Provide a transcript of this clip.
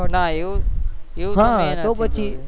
ના એવું તો મેં નથી જોયું તો પછી